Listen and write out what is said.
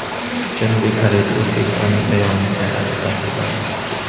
Janubiy Koreyada o‘zbekistonlik ayolning jasadi topildi.